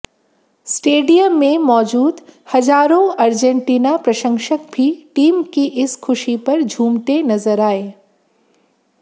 stadium में मौजूद हजारों अर्जेटीना प्रशंसक भी टीम की इस खुशी पर झूमते नजर आए